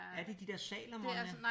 Er det de dér Salomon?